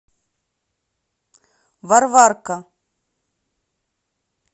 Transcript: варварка